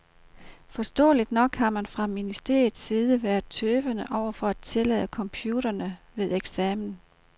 Forståeligt nok har man fra ministeriets side været tøvende over for at tillade computerne ved eksamen.